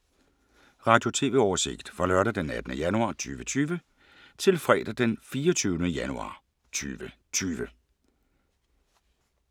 Radio/TV oversigt fra lørdag d. 18. januar 2020 til fredag d. 24. januar 2020